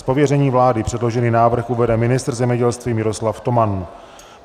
Z pověření vlády předložený návrh uvede ministr zemědělství Miroslav Toman.